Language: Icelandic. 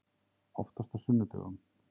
Oftast á sunnudögum.